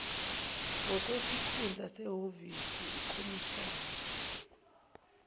ngokwesikhundla sehhovisi ukhomishina